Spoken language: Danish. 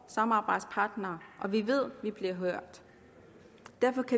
samarbejdspartnere og vi ved at vi bliver hørt